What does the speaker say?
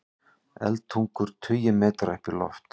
Eldtungur tugi metra upp í loft